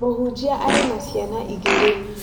Mũhunjia arĩ na ciana igĩrĩ